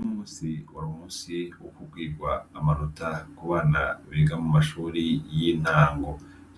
Uyu munsi wari umunsi wokubwirwa amanota kubana biga mu mashuri y'intango